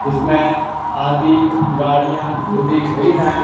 इसमें आधी गाड़ियाँ डूबी हुई हैं।